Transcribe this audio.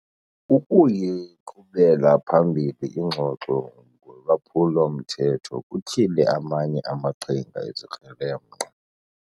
Ukuyiqhubela phambili ingxoxo ngolwaphulo-mthetho kutyhile amanye amaqhinga ezikrelemnqa.